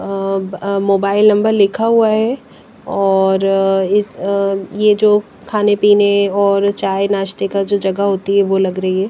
अ अ mobile number लिखा हुआ है और अ इस यह जो खाने पीने और चाय नाश्ते का जो जगह होती है वो लग रही है।